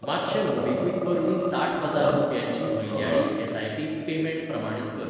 मातशें मोबीक्विक वरवीं साठ हजार रुपयांची म्हयन्याळी एस.आय.पी पेमेंट प्रमाणीत कर.